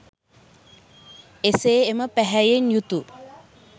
එසේ එම පැහැයෙන් යුතු